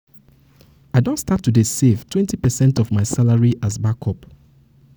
i don start to dey save twenty percent of my salary as backup